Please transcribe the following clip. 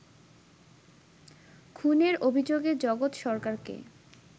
খুনের অভিযোগে জগৎ সরকারকে